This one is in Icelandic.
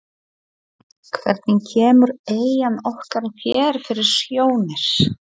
Hvernig kemur eyjan okkar þér fyrir sjónir?